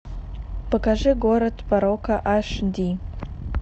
покажи город порока аш ди